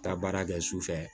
Taa baara kɛ su fɛ